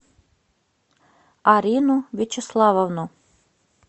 арину вячеславовну